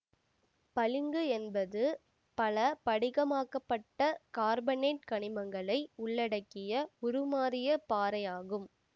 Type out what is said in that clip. பளிங்கு என்பது பலபடிகமாக்கப்பட்ட கார்பனேட்டு கனிமங்களை உள்ளடக்கிய உருமாறிய பாறை ஆகும்